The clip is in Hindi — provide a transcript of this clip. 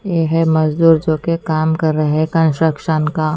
ये है मजदूर जो कि काम कर रहे है कंस्ट्रक्शन का।